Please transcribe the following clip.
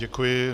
Děkuji.